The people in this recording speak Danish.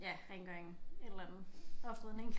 Ja rengøring et eller andet oprydning